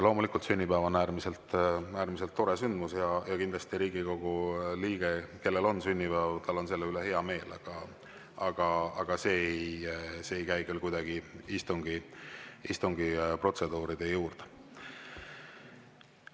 Loomulikult, sünnipäev on äärmiselt tore sündmus ja kindlasti Riigikogu liikmel, kellel on sünnipäev, on selle üle hea meel, aga see ei käi küll kuidagi istungi protseduuride juurde.